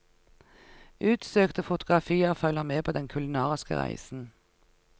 Utsøkte fotografier følger med på den kulinariske reisen.